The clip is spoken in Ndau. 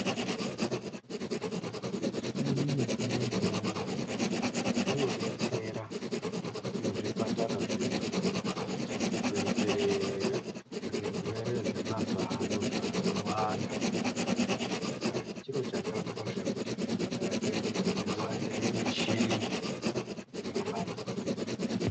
Michini yechimanjemanje inodetsera muzvipatara zvedu kuitire zvirwere zvemazuwa ano zvandowanda. Saka chiro chakakosha kuti zvipatara zvedu zviwande michini inobatsira.